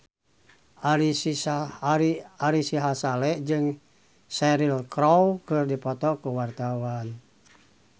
Ari Sihasale jeung Cheryl Crow keur dipoto ku wartawan